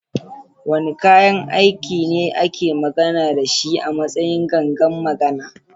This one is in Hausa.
Wane kayan aiki ne ake magana da shi a matsayin "gangan magana"?